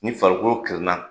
Ni farikolo kirin na